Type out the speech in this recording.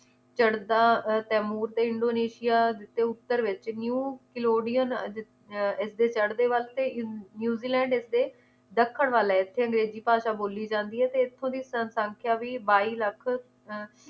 ਚੜ੍ਹਦਾ ਅਹ ਤੈਮੂਰ ਤੇ ਇੰਡੋਨੇਸ਼ੀਆ ਤੇ ਉੱਤਰ ਵਿਚ new kalodian ਅਹ ਜਿਥ~ ਇਸਦੇ ਚੜ੍ਹਦੇ ਵਾਸਤੇ ਤੇ ਨਊਜ਼ੀਲੈਂਡ ਇਸਦੇ ਦੱਖਣ ਵੱਲ ਹੈ ਇਥੇ ਅੰਗਰੇਜ਼ੀ ਭਾਸ਼ਾ ਬੋਲੀ ਜਾਂਦੀ ਹੈ ਤੇ ਇਥੋਂ ਦੀ ਸਨਸੰਖੇਆ ਵੀ ਬਾਈ ਲੱਖ ਅਹ